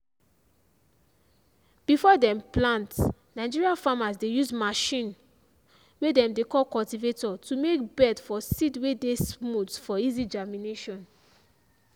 before dem plant nigeria farmers dey use machine way dem dey call cultivator to make bed for seed way dey smooth for easy germination.